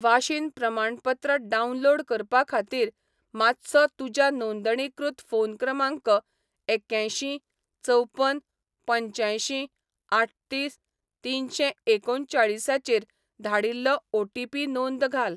वाशीन प्रमाणपत्र डावनलोड करपा खातीर, मातसो तुज्या नोंदणीकृत फोन क्रमांक एक्यांयशीं चवपन पंच्यांयशीं आठतीस तिनशें एकुणचाळीसाचेर धाडिल्लो ओ.टी.पी. नोंद घाल.